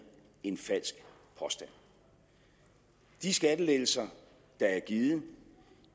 en falsk påstand de skattelettelser der er givet